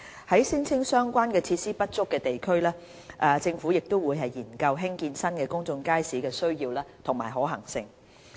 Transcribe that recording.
在聲稱相關設施不足的地區，政府亦會研究興建新公眾街市的需要及可行性。